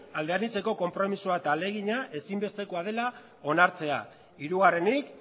alde anitzeko konpromisoa eta ahalegina ezinbestekoa dela onartzea hirugarrenik